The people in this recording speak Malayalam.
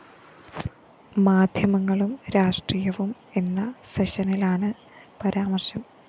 മാധ്യമങ്ങളും രാഷ്ട്രീയവും എന്ന സെഷനിലാണ് പരാമര്‍ശം